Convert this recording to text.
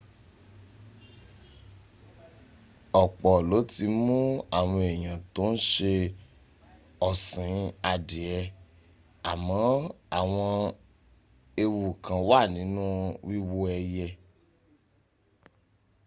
ọ̀pọ̀ ló ti mún àwọn èèyàn tó ń ṣe ọ̀sìn adìẹ àmọ́ àwọn ewu kán wà nínú wíwó ẹyẹ